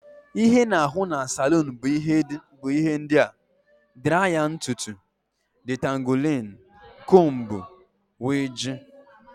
Ihe ana ahụ n' salun bu ihe ndia: draya ntụtụ ,ditanguling combú wdg.